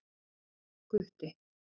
Gutti